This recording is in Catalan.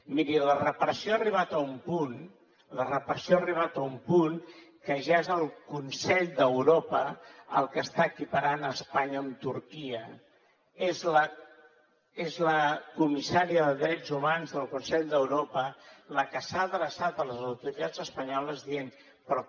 miri la repressió ha arribat a un punt la repressió ha arribat a un punt que ja és el consell d’europa el que està equiparant espanya amb turquia és la comissària de drets humans del consell d’europa la que s’ha adreçat a les autoritats espanyoles dient però com